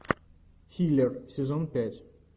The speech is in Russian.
хилер сезон пять